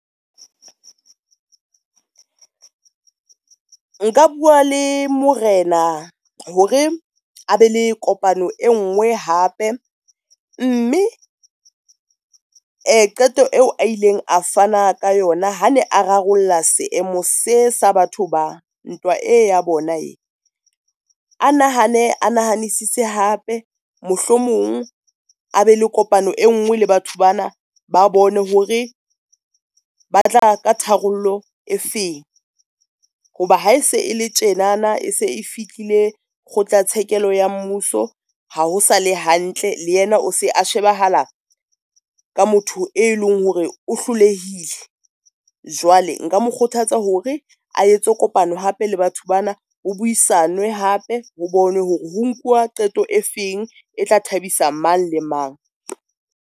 Nka bua le morena hore a be le kopano e ngwe hape, mme qeto eo a ileng a fana ka yona. Ha ne a rarolla seemo se sa batho ba, ntwa e ya bona e, a nahane a nahanisise hape mohlomong a be le kopano e nngwe le batho bana ba bone hore ba tla ka tharollo e feng. Ho ba ha e se e le tjenana e se e fihlile kgotlatshekelo ya mmuso ha ho sale hantle, le yena o se a shebahala ka motho e leng hore o hlolehile. Jwale nka mo kgothatsa hore a etse kopano hape le batho bana. Ho buisanwe hape ho bone hore ho nkuwa qeto e feng, e tla thabisa mang le mang.